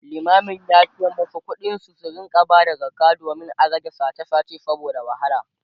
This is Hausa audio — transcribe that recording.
limamin yace masu kuɗi su rinka Bada zakka domin a rage sache sache saboda wahala